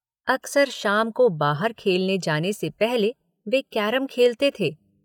अक्सर शाम को बाहर खेलने जाने से पहले वे कैरम खेलते थे।